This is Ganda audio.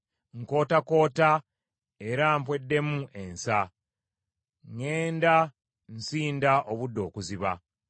Nkootakoota era mpweddemu ensa, ŋŋenda nsinda obudde okuziba.